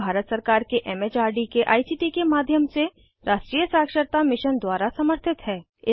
यह भारत सरकार के एम एच आर डी के आई सी टी के माध्यम से राष्ट्रीय साक्षरता मिशन द्वारा समर्थित है